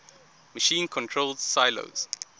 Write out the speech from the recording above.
machine controlled silos